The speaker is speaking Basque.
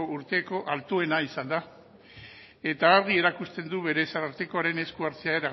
urteko altuena izan da eta argi erakusten du berez arartekoaren esku hartzea